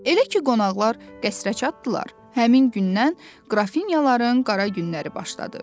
Elə ki, qonaqlar qəsrə çatdılar, həmin gündən qrafinyaların qara günləri başladı.